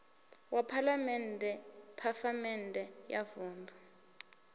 wa phalamende phafamende ya vundu